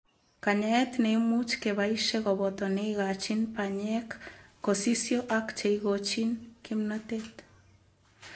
Kanyaet neimuch kebaishee kobotoo neikachiin panyeek kosisyo ak cheikochiin kimnotet